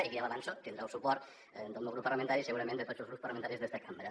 i ja l’hi avanço tindrà el suport del meu grup parlamentari i segurament de tots els grups parlamentaris d’esta cambra